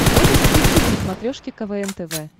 можешь включить на смотрешке квн тв